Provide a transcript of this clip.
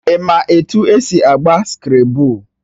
Ị ma etu esi agba Skrabụl?